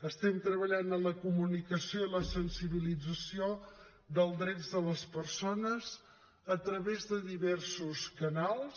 estem treballant en la comunicació i la sensibilització dels drets de les persones a través de diversos canals